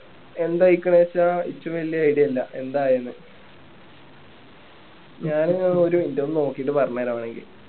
എന്തായിക്കാണേച്ച എനിക്കും വലിയ idea ഇല്ല എന്താ ആയെന്ന് ഞാന് ഒരു ഇതൊന്ന് നോക്കീട്ട് പറഞ്ഞു തരാം വേണെങ്കി